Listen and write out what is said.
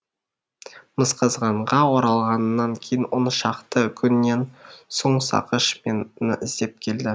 мысқазғанға оралғаннан кейін он шақты күннен соң сақыш мені іздеп келді